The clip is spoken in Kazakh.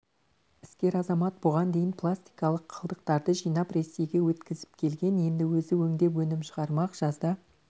іскер азамат бұған дейін пластикалық қалдықтарды жинап ресейге өткізіп келген енді өзі өңдеп өнім шығармақ жазда